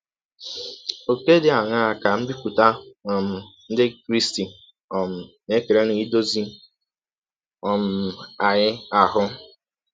Ọ̀kè dị aṅaa ka mbipụta um ndị Krịsti um na - ekere n’idọzi um anyị ahụ?